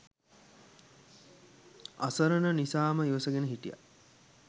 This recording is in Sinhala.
අසරණ නිසාම ඉවසගෙන හිටියා.